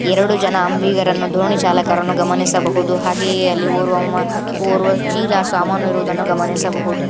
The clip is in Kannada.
ಎರಡು ಜನ ಅಂಬಿಗರನ್ನು ದೋಣಿ ಚಾಲಕರನ್ನು ಗಮನಿಸಬಹುದು ಹಾಗೆಯೇ ಅಲ್ಲಿ ಓರ್ವ ಚೀಲ ಸಾಮಾನಿರುವುದನ್ನು ಗಮನಿಸಬಹುದು.